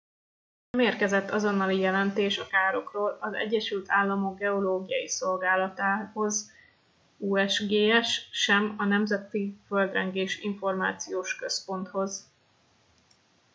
nem érkezett azonnali jelentés a károkról az egyesült államok geológiai szolgálatához usgs sem a nemzeti földrengés információs központhoz